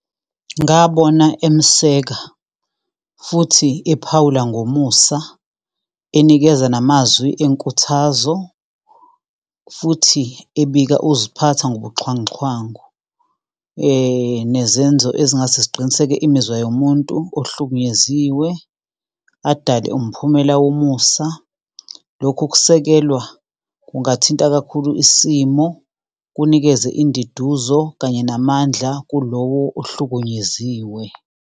Ngabona emseka, futhi ephawula ngomusa, enikeza namazwi enkuthazo, futhi ebika ukuziphatha ngobuxhanguxhangu. Nezenzo ezingase ziqinisekise imizwa yomuntu ohlukunyeziwe adale umphumela womusa. Lokhu ukusekelwa kungathinta kakhulu isimo, kunikeze induduzo kanye namandla kulowo ohlukunyeziwe.